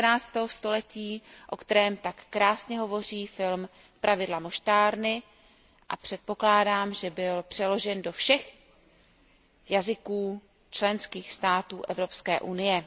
19. století, o kterém tak krásně hovoří film Pravidla moštárny, a předpokládám, že byl přeložen do všech jazyků členských států Evropské unie.